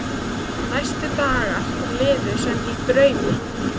Næstu dagar liðu sem í draumi.